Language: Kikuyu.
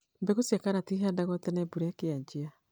Mbura cia karati cihandgwo tene mbura ĩkĩajia.